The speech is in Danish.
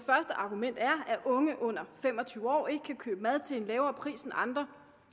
argument er at unge under fem og tyve år ikke kan købe mad til en lavere pris end andre